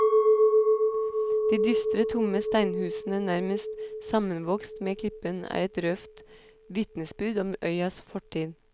De dystre, tomme steinhusene, nærmest sammenvokst med klippen, er et røft vitnesbyrd om øyas fortid.